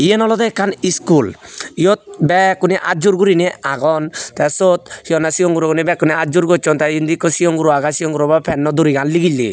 yen olodey ekkan iskul yot bekkune atjur gurine agon te siot hi honne sigon gurogune bekkune atjur gosson te indi ikko sigon guro age sigon gurobo durigan nigille.